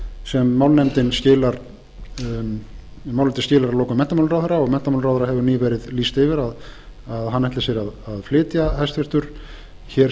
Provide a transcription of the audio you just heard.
sem málnefndin skilar að lokum menntamálaráðherra og menntamálaráðherra hefur nýverið lýst yfir að hann ætli sér að flytja hæstvirtur hér